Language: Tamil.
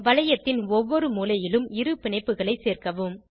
வளையத்தின் ஒவ்வொரு மூலையிலும் இரு பிணைப்புகளை சேர்க்கவும்